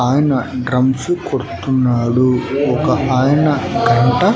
ఆయన డ్రమ్స్ కొడుతున్నాడు ఒక ఆయన గంట--